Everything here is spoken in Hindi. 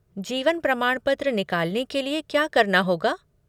जीवन प्रमाणपत्र निकालने के लिए क्या करना होगा?